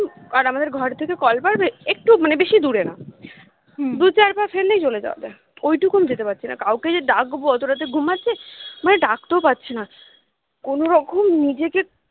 আর আমাদের ঘর থেকে কল পার একটু মানে বেশি দূরে না দু চার পা ফেললেই চলে যাওয়া যায় ঐটুকু আমি যেতে পারছি না কাউকে যে ডাকবো অতো রাতে ঘুমাচ্ছে ডাকতেও পারছি না কোনো রকম নিজেকে